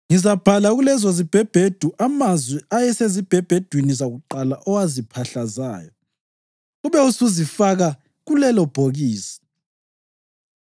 Ngizabhala kulezozibhebhedu amazwi ayesezibhebhedwini zakuqala owaziphahlazayo. Ube usuzifaka kulelobhokisi.’